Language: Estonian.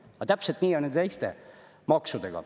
Aga täpselt nii on ju teiste maksudega.